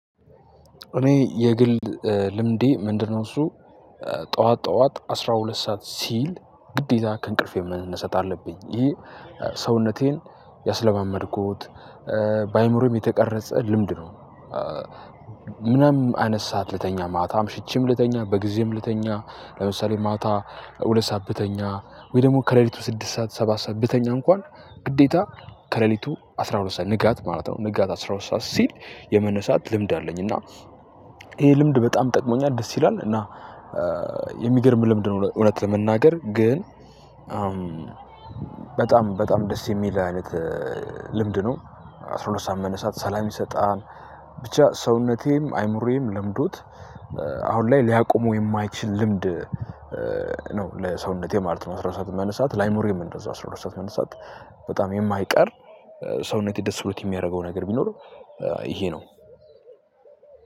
እኔ የግል ልምዴ ምንድነው? እሱ ጠዋት ጠዋት አስራ ሁለት ሰዓት ሲል ግዴታ ከእንቅልፌ መነሰት አለብኝ ይሄ ሰውነቴን ያስለማመድኩት በአእምሮዬም የተቀረጸ ልምድ ነው። ምናምን አነሳሃት ልተኛ ማታም ሽቺም ልተኛ በጊዜም ልተኛ ለምሳሌ ማታ ሁለት ሰዓት ብተኛ ወይ ደግሞ ከሌሊቱ ስድስት ሰዓት ሰባት ሰዓት ብተኛ እንኳን ግዴታ ከሌሊቱ አስራ ሁለት ሰዓት ንጋት ማለት ነው ንጋት አስራ ሁለት ሰዓት ሲል የመነሳት ልምድ አለኝ። እና ይሄ ልምድ በጣም ጠቅሞኛል ደስ ይላል። እና የሚገርም ልምድ ነው። እውነት ለመናገር ግን በጣም በጣም ደስ የሚል አይነት ልምድ ነው። አስራ ሁለት ሰዓት መነሳት ሰላም ይሰጣል። ብቻ ሰውነቴም አይምሮዬም ለምዶት አሁን ላይ ሊያቆመው የማይችል ልምድ ነው። ለሰውነቴ ማለት ነው። አስራ ሁለት ሰዓት መንሳት ላይምሮየም እንደዛው አስራ ሁለት ሰዓት መነሳት በጣም የማይቀር ሰውነቴ ደስ ብሎት የሚያደርገው ነገር ቢኖር። ይሄ ነው።